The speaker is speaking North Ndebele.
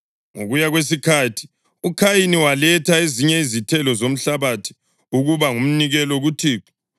Ngokuya kwesikhathi uKhayini waletha ezinye izithelo zomhlabathi ukuba ngumnikelo kuThixo.